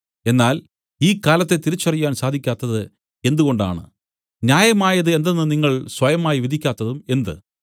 എന്നാൽ ഈ കാലത്തെ തിരിച്ചറിയാൻ സാധിക്കാത്തത് എന്തുകൊണ്ടാണ് ന്യായമായത് എന്തെന്ന് നിങ്ങൾ സ്വയമായി വിധിക്കാത്തതും എന്ത്